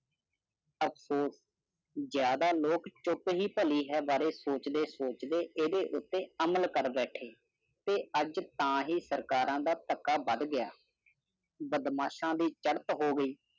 ਅਫਸੋਸ, ਜ਼ਿਆਦਾ ਲੋਕ ਚੁੱਪ ਹੀ ਭਲੀ ਹੈ ਬਾਰੇ ਸੋਚਦੇ-ਸੋਚਦੇ ਜਦੋਂ ਉਤੇ ਅਮਲ ਕਰ ਬੈਠੇ ਤੇ ਅਜ ਤਾ ਹੀ ਸਰਕਾਰਾਂ ਦਾ ਧੱਕਾ ਵੱਧ ਗਿਆ। ਬਦਮਾਸ਼ ਦੀ ਚਲਤ ਹੋ ਗਯੀ।